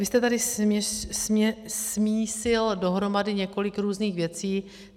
Vy jste tady smíchal dohromady několik různých věcí.